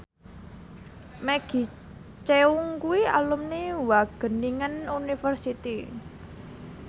Maggie Cheung kuwi alumni Wageningen University